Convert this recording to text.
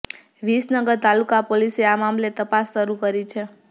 વિસનગર તાલુકા પોલીસે આ મામલે તપાસ શરૂ કરી છે